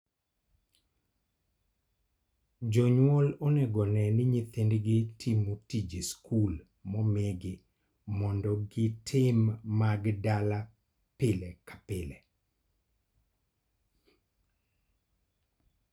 Jonyuol onego one ni nyithindgi timo tije sul momigi mondo gitim mag dala pile ka pile.